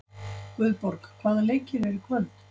Guðborg, hvaða leikir eru í kvöld?